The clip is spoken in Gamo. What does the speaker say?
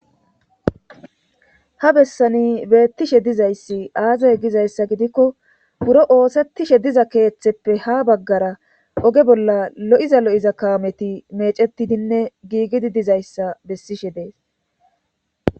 ha bessani beettishe dizayssi aazay gizayssa gidikko buro oosettishe diza keeththeppe ha baggara oge bolla lo7iza lo7iza kaameti mecetidinne giigidi dizayssa bessishe dees